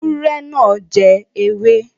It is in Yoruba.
Ewúrẹ́ náà jẹ ewé.